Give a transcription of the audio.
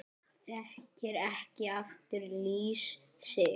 Þekkir ekki aftur líf sitt